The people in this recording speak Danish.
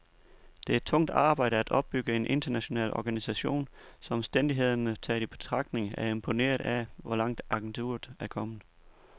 Det er tungt arbejde at opbygge en international organisation, så omstændighederne taget i betragtning er jeg imponeret af, hvor langt agenturet er kommet.